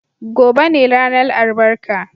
Gobe ​​ne ranar albarka.